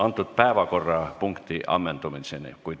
Antud päevakorrapunkti ammendumiseni.